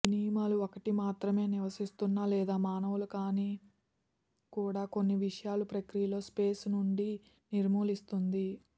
ఈ నియమాలు ఒకటి మాత్రమే నివసిస్తున్న లేదు మానవులు కానీ కూడా కొన్ని విషయాలు ప్రక్రియలో స్పేస్ నుండి నిర్మూలిస్తుంది